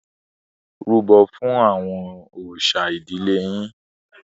Rúbọ̀ fún àwọn òòṣà ìdílé yín.